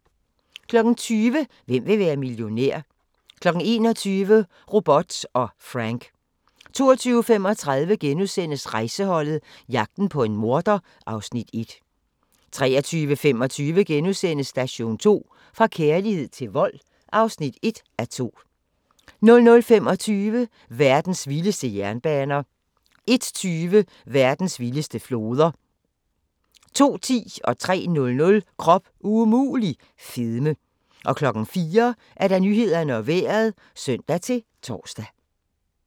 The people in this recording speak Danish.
20:00: Hvem vil være millionær? 21:00: Robot & Frank 22:35: Rejseholdet – jagten på en morder (Afs. 1)* 23:25: Station 2: Fra kærlighed til vold (1:2)* 00:25: Verdens vildeste jernbaner 01:20: Verdens vildeste floder 02:10: Krop umulig - fedme 03:00: Krop umulig - fedme 04:00: Nyhederne og Vejret (søn-tor)